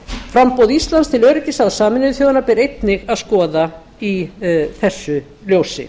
framboð íslands til öryggisráðs sameinuðu þjóðanna ber einnig að skoða í þessu ljósi